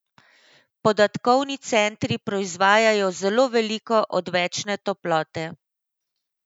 Podatkovni centri proizvajajo zelo veliko odvečne toplote.